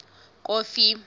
kofi